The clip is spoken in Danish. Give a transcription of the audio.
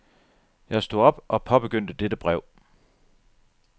Jeg stod op og påbegyndte dette brev.